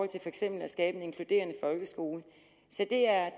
til for eksempel at skabe en inkluderende folkeskole så det er